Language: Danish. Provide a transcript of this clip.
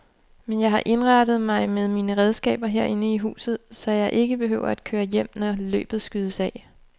Men jeg har indrettet mig med mine regnskaber herinde i huset, så jeg ikke behøver at køre hjem, når løbet skydes af.